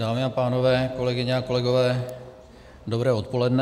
Dámy a pánové, kolegyně a kolegové, dobré odpoledne.